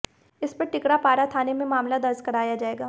इस पर टिकरापारा थाने में मामला दर्ज कराया जाएगा